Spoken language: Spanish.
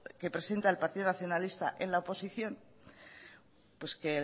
que presenta el partido nacionalista en la oposición pues que